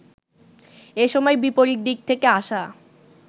এ সময় বিপরীত দিক থেকে আসা